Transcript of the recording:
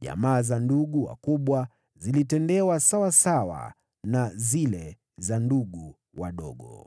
Jamaa za ndugu wakubwa zilitendewa sawasawa na zile za ndugu wadogo.